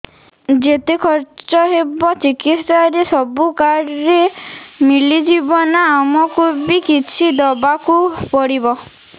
ଯେତେ ଖର୍ଚ ହେବ ଚିକିତ୍ସା ରେ ସବୁ କାର୍ଡ ରେ ମିଳିଯିବ ନା ଆମକୁ ବି କିଛି ଦବାକୁ ପଡିବ